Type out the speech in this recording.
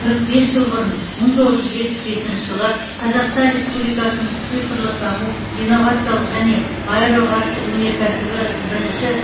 қырық бес жыл бұрын мың тоғыз жүз жетпіс бесінші жылы қазақстан республикасының цифрлық даму инновациялық және аэроғарыш өнеркәсібі бірінші